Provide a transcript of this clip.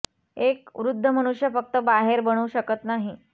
एक वृद्ध मनुष्य फक्त बाहेर बनवू शकत नाही